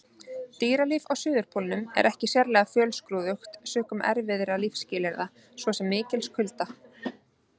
Dýralíf á Suðurpólnum er ekki sérlega fjölskrúðugt sökum erfiðra lífsskilyrða, svo sem mikils kulda.